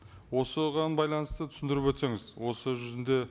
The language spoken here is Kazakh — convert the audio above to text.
осыған байланысты түсіндіріп өтсеңіз осы жүзінде